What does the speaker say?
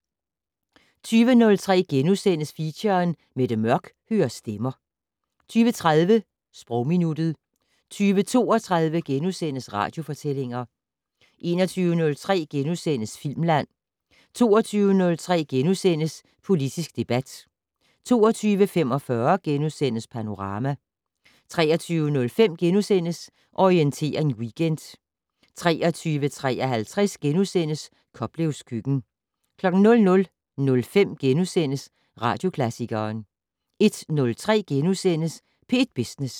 20:03: Feature: Mette Mørch hører stemmer * 20:30: Sprogminuttet 20:32: Radiofortællinger * 21:03: Filmland * 22:03: Politisk debat * 22:45: Panorama * 23:05: Orientering Weekend * 23:53: Koplevs køkken * 00:05: Radioklassikeren * 01:03: P1 Business *